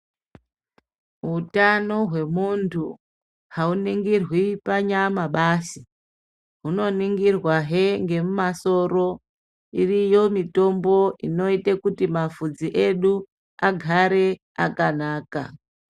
Hutano hwemuntu hauningirwi panyama basi. Hunoningirwahe ngemumasoro. Iriyo mitombo inoite kuti mabvudzi edu agare akanaka.